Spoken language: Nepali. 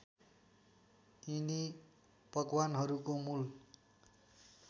यिनी पकवानहरूको मूल